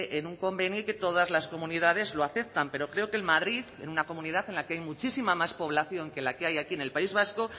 en un convenio y que todas las comunidades lo aceptan pero creo que en madrid en una comunidad en la que hay muchísima más población que la que hay aquí en el país vasco